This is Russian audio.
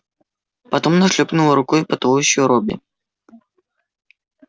потом она шлёпнула рукой по туловищу робби